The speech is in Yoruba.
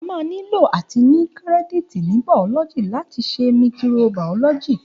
A mà nílò àtí ní kírẹdítì ní bàọlọgi làtí sẹ míkìró bàọlọjí.